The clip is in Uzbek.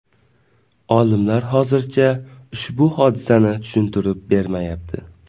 Olimlar hozircha ushbu hodisani tushuntirib bermayapti.